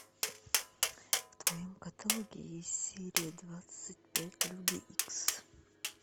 в твоем каталоге есть серия двадцать пять люди икс